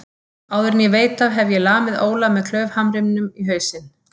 Áður en ég veit af hef ég lamið Óla með klaufhamrinum í hausinn.